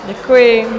Děkuji.